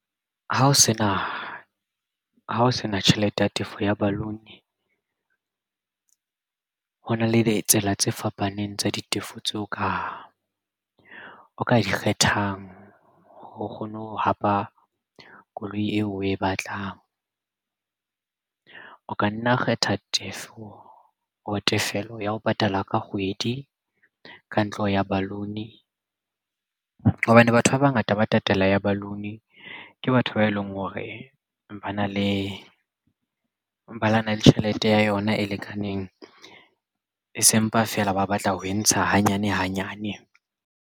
Ha o sena tjhelete ya tefo ya balloon. Ho na le ditsela tse fapaneng tsa ditefo tseo ka o ka kgethang ho kgone ho hapa koloi eo, oe batlang. O ka nna kgetha tefo or tefello ya ho patala ka kgwedi ka ntlo ya balloon. Hobane batho ba bangata ba tatela ya balloon ke batho ba eleng hore ba na le ba na le tjhelete ya yona e lekaneng e sempa fela ba batla ho e ntsha hanyane hanyane.